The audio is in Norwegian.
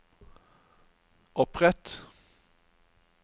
opprett